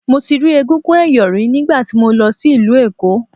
Mo ti rí egúngún ẹ̀yọ̀ rí nígbà tí mo lọ sí ìlú Èkó.